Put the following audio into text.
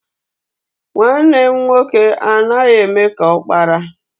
Nwanne m nwoke anaghị eme ka ọkpara.